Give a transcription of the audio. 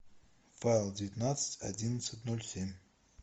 файл девятнадцать одиннадцать ноль семь